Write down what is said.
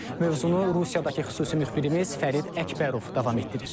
Mövzunu Rusiyadakı xüsusi müxbirimiz Fərid Əkbərov davam etdirir.